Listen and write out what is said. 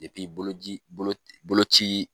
bolo ji bolo bolo ci